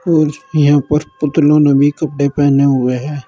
और यहां पर पुतलो ने भी कपड़े पहने हुए हैं।